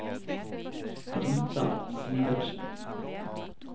Brita Sivertsen